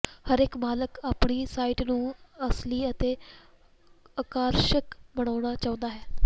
ਹਰੇਕ ਮਾਲਕ ਆਪਣੀ ਸਾਈਟ ਨੂੰ ਅਸਲੀ ਅਤੇ ਆਕਰਸ਼ਕ ਬਣਾਉਣਾ ਚਾਹੁੰਦਾ ਹੈ